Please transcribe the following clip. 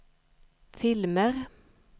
filmer